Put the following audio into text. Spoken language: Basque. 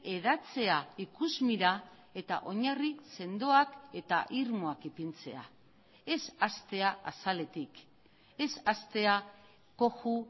hedatzea ikusmira eta oinarri sendoak eta irmoak ipintzea ez hastea azaletik ez hastea koju